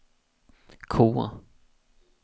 K